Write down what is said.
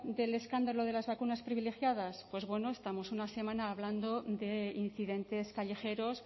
del escándalo de las vacunas privilegiadas pues bueno estamos una semana de incidentes callejeros